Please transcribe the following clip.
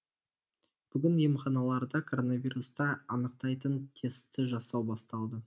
бүгін емханаларда коронавирусты анықтайтын тестті жасау басталды